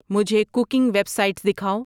مجھے cooking websites دکھاؤ